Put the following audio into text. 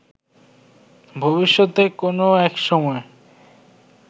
ভবিষ্যতে কোনো একসময়